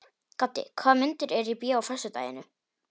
Gaddi, hvaða myndir eru í bíó á föstudaginn?